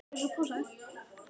Ég sá að amma var montin af afa.